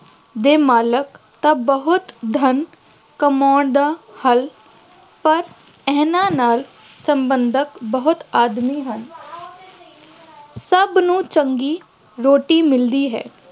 ਦੇ ਮਾਲਕ ਤਾਂ ਬਹੁਤ ਧੰਨ ਕਮਾਉਣ ਦਾ ਹੱਲ, ਪਰ ਇਹਨਾ ਨਾਲ ਸੰਬੰਧਿਤ ਬਹੁਤ ਆਦਮੀ ਹਨ ਸਭ ਨੂੰ ਚੰਗੀ ਰੋਟੀ ਮਿਲਦੀ ਹੈ